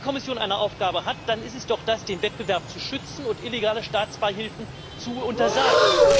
Wenn die Kommission eine Aufgabe hat, dann ist es doch die, den Wettbewerb zu schützen und illegale Staatsbeihilfen zu untersagen.